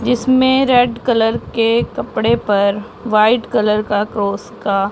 जिसमें red colour के कपड़े पर वाइट कलर का क्रॉस का--